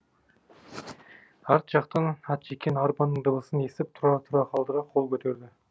арт жақтан ат жеккен арбаның дыбысын есітіп тұрар тұра қалды да қол көтерді